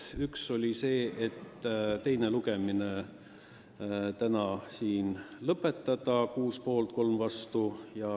Esiteks: teine lugemine täna siin lõpetada – 6 poolt, 3 vastu.